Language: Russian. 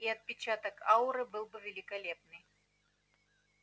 и отпечаток ауры был великолепный